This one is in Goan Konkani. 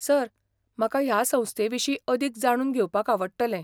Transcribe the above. सर, म्हाका ह्या संस्थे विशीं अदीक जाणून घेवपाक आवडटलें.